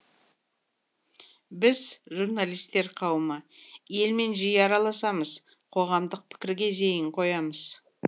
біз журналистер қауымы елмен жиі араласамыз қоғамдық пікірге зейін қоямыз